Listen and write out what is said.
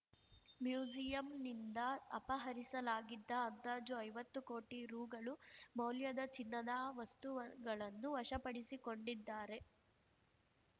ಮ್ಯೂಸಿಯಂನಿಂದ ಅಪಹರಿಸಲಾಗಿದ್ದ ಅಂದಾಜು ಐವತ್ತು ಕೋಟಿ ರುಗಳುಮೌಲ್ಯದ ಚಿನ್ನದ ವಸ್ತುವ ಗಳನ್ನು ವಶಪಡಿಸಿಕೊಂಡಿದ್ದಾರೆ